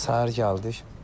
Səhər gəldik.